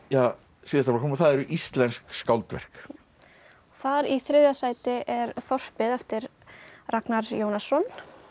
síðasta flokknum og það eru íslensk skáldverk þar í þriðja sæti er þorpið eftir Ragnar Jónasson